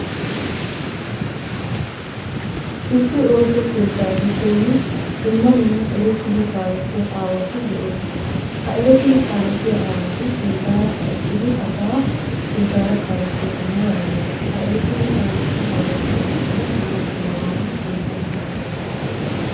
Issi ooso keettaa giddon dumma dumma erettidi kaalettiya aawati de'oosona. Ha erettidi kaalettiya aawati sinttaara uttidi asaa sinttaara kaalettoosona yaagiyogaa. Ha erettidi kaalettiya aawatu oosoyikka dumma dummabaan qonccana danddayes.